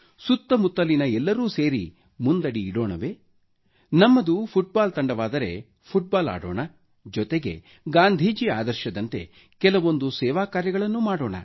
ಸುತ್ತಮುತ್ತಲಿನ ಎಲ್ಲರೂ ಸೇರಿ ಮುಂದಡಿಯಿಡೋಣವೇ ನಮ್ಮದು ಫುಟ್ಬಾಲ್ ತಂಡವಾದರೆ ಫುಟ್ಬಾಲ್ ಆಡೋಣ ಜೊತೆಗೆ ಗಾಂಧೀಜಿ ಆದರ್ಶದಂತೆ ಕೆಲವೊಂದು ಸೇವಾ ಕಾರ್ಯಗಳನ್ನೂ ಮಾಡೋಣ